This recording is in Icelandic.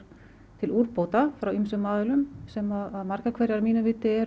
til úrbóta frá ýmsum aðilum sem að margar hverjar að mínu viti eru